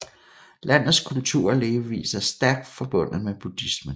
Landets kultur og levevis er stærk forbundet med buddhismen